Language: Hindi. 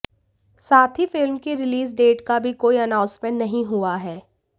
साथ ही फिल्म की रिलीज डेट का भी कोई अनाउंसमेंट नहीं हुआ है